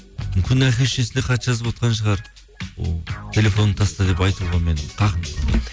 мүмкін әке шешесіне хат жазып отырған шығар телефоныңды таста деп айтуға менің хақым